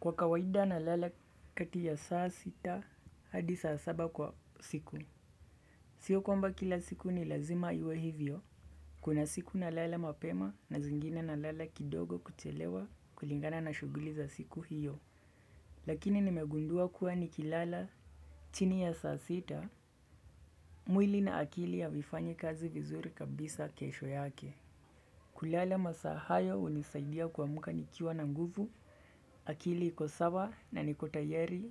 Kwa kawaida na lala kati ya saa sita hadi saa saba kwa usiku. Sio kwamba kila siku ni lazima iwe hivyo. Kuna siku nalala mapema na zingine nalala kidogo kuchelewa kulingana na shuguli za siku hiyo. Lakini nimegundua kuwa ni kilala chini ya saa sita. Mwili na akili havifanyi kazi vizuri kabisa kesho yake. Kulala masaa hayo unisaidia kuamuka nikiwa na nguvu. Akili iko sawa na niko tayari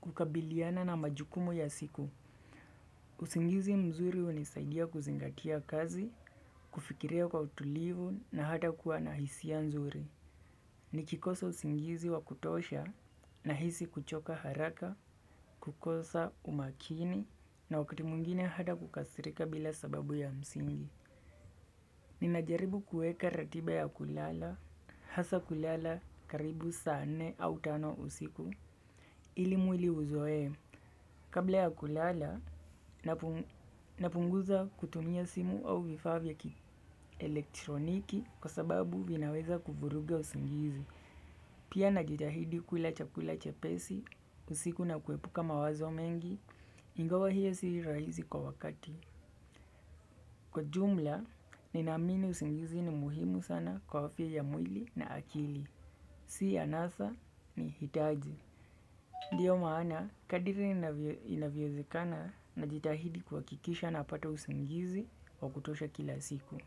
kukabiliana na majukumu ya siku. Usingizi mzuri unisaidia kuzingatia kazi, kufikiria kwa utulivu na hata kuwa nahisia nzuri. Nikikosa usingizi wa kutosha, nahisi kuchoka haraka, kukosa, umakini, na wakiti mwingine hata kukasirika bila sababu ya msingi. Ninajaribu kuweka ratiba ya kulala, hasa kulala karibu saa nne au tano usiku, ili mwili uzoe, kabla ya kulala napunguza kutumia simu au vifaa vya kielektroniki kwa sababu vinaweza kuvuruga usingizi. Pia najitahidi kula chakula chepesi, usiku na kuepuka mawazo mengi, ingawa hiyo si rahizi kwa wakati. Kwa jumla, ninaamini usingizi ni muhimu sana kwa afya ya mwili na akili. Si anasa, ni hitaji. Ndiyo maana, kadiri inavyowezikana najitahidi kuhakikisha napata usingizi wa kutosha kila siku.